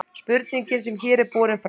spurningin sem hér er borin fram